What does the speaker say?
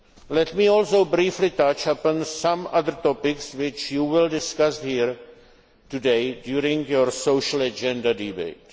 else. Let me also briefly touch upon some other topics which you will discuss here today during your Social agenda